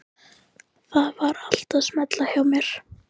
Það var allt að smella hjá mér.